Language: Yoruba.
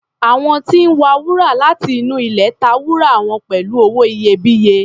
Àwọn tí ń wa wúrà láti inú ilẹ̀ ta wúrà wọn pẹ̀lú owó iyebíye.